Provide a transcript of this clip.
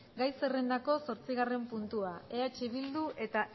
gai zerrendako zortzigarren puntua eh bildu eta